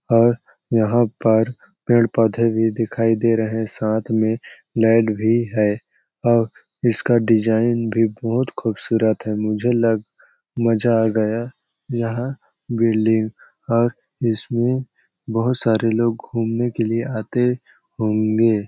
और यहाँ पर पेड़ -पौधे भी दिखाई दे रहे है साथ में लाइट भी है और इसका डिज़ाइन भी बहोत खूबसूरत है मुझे लग मजा आ गया यहाँ बिल्डिंग और इसमें बहोत सारे लोग घूमने के लिए आते होंगे ।